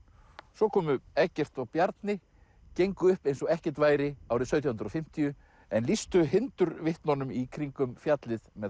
svo komu Eggert og Bjarni gengur upp eins og ekkert væri árið sautján hundruð og fimmtíu en lýstu í kringum fjallið með